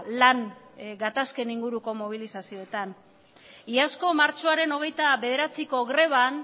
lan gatazken inguruko mobilizazioetan iazko martxoaren hogeita bederatziko greban